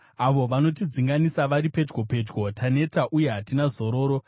Avo vanotidzinganisa vari pedyo pedyo; taneta uye hatina zororo.